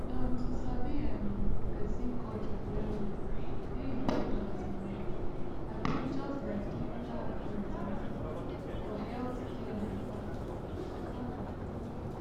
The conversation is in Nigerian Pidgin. um to sabi um person culture well well dey important you know abi just like clinical accuracy um for healthcare matter matter